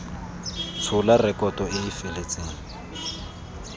tshola rekoto e e feletseng